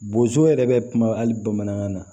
Bozo yɛrɛ bɛ kuma hali bamanankan na